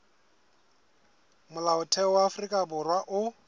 molaotheo wa afrika borwa o